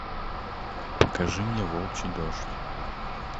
покажи мне волчий дождь